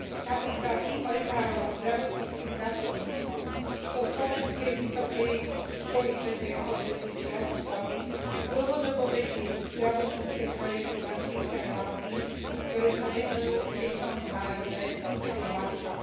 Napríklad tím lekárov a zdravotníckych pracovníkov zo slovenskej Vysokej školy svätej Alžbety z Bratislavy dlhodobo vedie zdravotnícke projekty v Afrike aj v Ázii, ktoré sa venujú deťom s HIV a ich matkám.